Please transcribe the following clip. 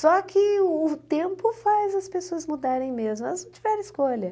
Só que o tempo faz as pessoas mudarem mesmo, elas não tiveram escolha.